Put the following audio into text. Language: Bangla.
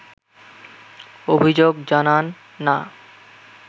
অভিযোগ জানান না